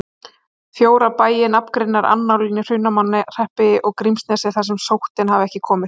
Fjóra bæi nafngreinir annállinn í Hrunamannahreppi og Grímsnesi þar sem sóttin hafi ekki komið.